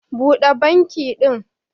Buda banki din